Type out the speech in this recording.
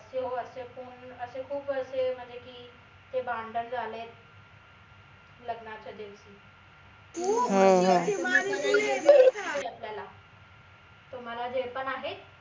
म्हनून असे खूप असे म्हनजे की भांडन झालेत लग्नाच्या दिवशी तुम्हाला जे पण आहेत